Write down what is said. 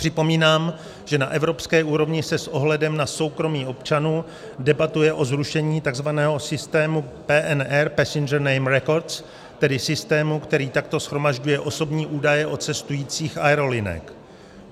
Připomínám, že na evropské úrovni se s ohledem na soukromí občanů debatuje o zrušení tzv. systému PNR - Passenger Name Records, tedy systému, který takto shromažďuje osobní údaje o cestujících aerolinek.